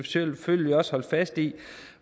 selvfølgelig også holde fast i